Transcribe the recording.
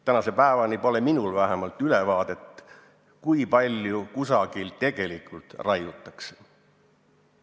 Tänase päevani pole minul vähemalt ülevaadet, kui palju kusagil tegelikult raiutakse.